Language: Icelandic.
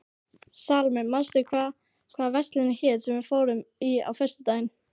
Salóme, manstu hvað verslunin hét sem við fórum í á föstudaginn?